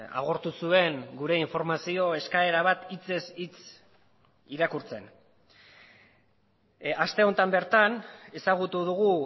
agortu zuen gure informazio eskaera bat hitzez hitz irakurtzen aste honetan bertan ezagutu dugu